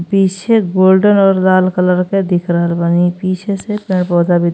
पीछे गोल्डन और लाला कलर के दिख रहला बानी। पीछे से पेड़ पौधा भी --